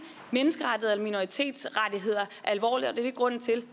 menneskerettigheder eller minoritetsrettigheder alvorligt og det er grunden til